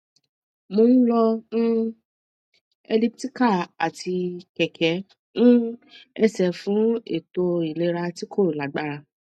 mo n lò um elliptical ati kẹkẹ um ẹsẹ fun eto ilera ti ko lagbara